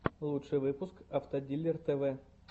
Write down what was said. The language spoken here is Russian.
лучший выпуск автодилер тв